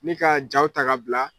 Ni ka jaaw ta ka bila.